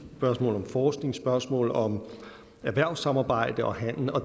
spørgsmål om forskning spørgsmål om erhvervssamarbejde og handel